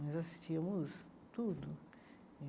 Nós assistíamos tudo.